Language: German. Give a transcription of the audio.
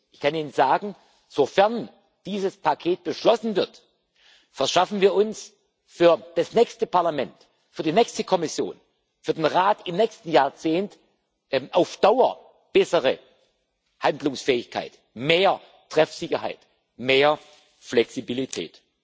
Ich kann Ihnen sagen Sofern dieses Paket beschlossen wird, verschaffen wir uns für das nächste Parlament, für die nächste Kommission, für den Rat im nächsten Jahrzehnt auf Dauer bessere Handlungsfähigkeit, mehr Treffsicherheit, mehr Flexibilität.